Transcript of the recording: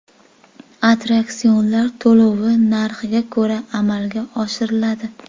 Attraksionlar to‘lovi narxiga ko‘ra amalga oshiriladi.